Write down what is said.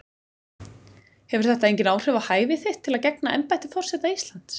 Hefur þetta engin áhrif á hæfi þitt til að gegna embætti forseta Íslands?